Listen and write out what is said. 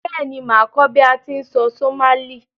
Béèni, màá kó bi a ti n sọ Somali